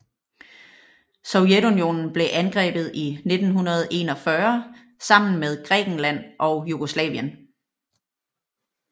Sovjetunionen blev angrebet i 1941 sammen med Grækenland og Jugoslavien